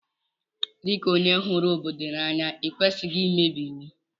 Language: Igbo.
Di ka onye huru obodo ya n'anya ikwesighi imebi iwu.